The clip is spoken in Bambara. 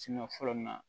fɔlɔ nin na